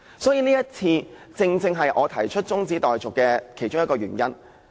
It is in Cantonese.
所以，這正正是我提出中止待續議案的其中一個原因。